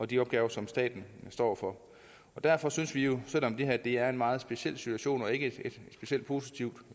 de opgaver som staten står for derfor synes vi jo selv om det er en meget speciel situation og ikke et specielt positivt